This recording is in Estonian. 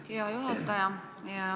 Aitäh, hea juhataja!